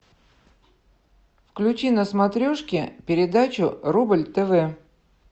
включи на смотрешке передачу рубль тв